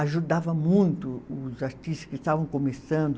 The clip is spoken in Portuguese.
Ajudava muito os artistas que estavam começando.